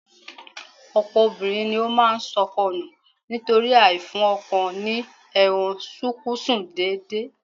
Ọ̀pọ̀ obìnrin ní ó máa sọkọ nù nítorí àìfún ọkọ ní ẹran-sunkúnsí déédéé